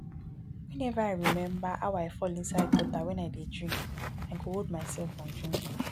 whenever i remember how i fall inside gutter wen i dey drink i go hold myself from drinking